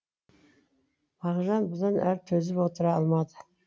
мағжан бұдан әрі төзіп отыра алмады